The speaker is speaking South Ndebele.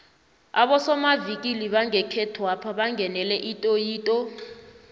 abosomavikili bangekhethwapha bangenele itoyitoyi